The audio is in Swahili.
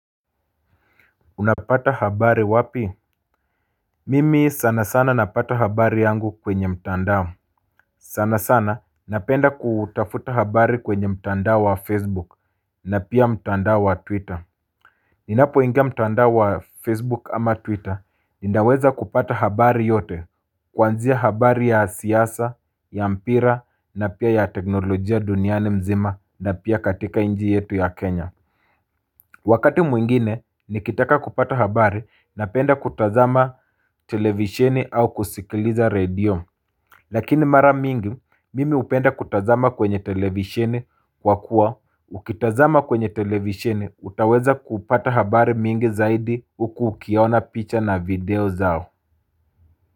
Unapata habari wapi? Mimi sana sana napata habari yangu kwenye mtandao. Sana sana napenda kutafuta habari kwenye mtandao wa Facebook na pia mtandao wa Twitter. Ninapoingia mtandao wa Facebook ama Twitter, ninaweza kupata habari yote, kuanzia habari ya siasa, ya mpira na pia ya teknolojia duniani mzima na pia katika nchi yetu ya Kenya. Wakati mwingine, nikitaka kupata habari napenda kutazama televisheni au kusikiliza radio. Lakini mara mingi, mimi hupenda kutazama kwenye televisheni kwa kuwa. Ukitazama kwenye televisheni, utaweza kupata habari mingi zaidi huku ukiona picha na video zao.